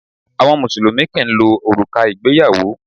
Àwọn Mùsùlùmí kì ń lo òrùka ìgbéyàwó.